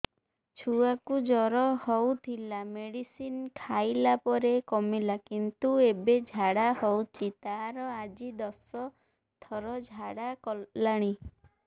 ଛୁଆ କୁ ଜର ହଉଥିଲା ମେଡିସିନ ଖାଇଲା ପରେ କମିଲା କିନ୍ତୁ ଏବେ ଝାଡା ହଉଚି ତାର ଆଜି ଦଶ ଥର ଝାଡା କଲାଣି